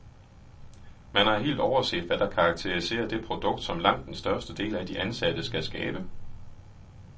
Man har helt overset, hvad der karakteriserer det produkt, som langt den største del af de ansatte skal skabe.